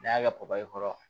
N'i y'a kɛ papayi kɔrɔ